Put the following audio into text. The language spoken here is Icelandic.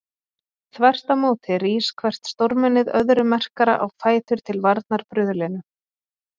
Þvert á móti rís hvert stórmennið öðru merkara á fætur til varnar bruðlinu.